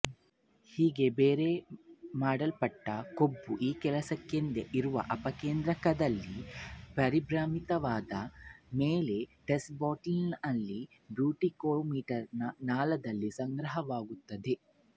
ಹೀಗೆ ಬೇರೆ ಮಾಡಲ್ಪಟ್ಟ ಕೊಬ್ಬು ಈ ಕೆಲಸಕ್ಕೆಂದೇ ಇರುವ ಅಪಕೇಂದ್ರಕದಲ್ಲಿ ಪರಿಭ್ರಮಿತವಾದ ಮೇಲೆ ಟೆಸ್ಟ್ ಬಾಟಲಿನ ಬ್ಯೂಟಿಕೋಮೀಟರ್ ನಾಳದಲ್ಲಿ ಸಂಗ್ರಹವಾಗುತ್ತದೆ